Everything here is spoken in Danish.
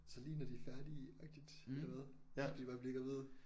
Så lige når de er færdige agtigt eller hvad så vil de bare blive gravide